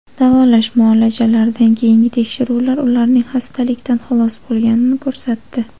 Davolash muolajalaridan keyingi tekshiruvlar ularning xastalikdan xalos bo‘lganini ko‘rsatdi.